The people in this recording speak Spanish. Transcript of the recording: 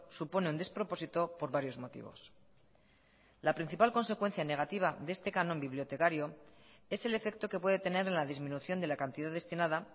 supone un despropósito por varios motivos la principal consecuencia negativa de este canon bibliotecario es el efecto que puede tener en la disminución de la cantidad destinada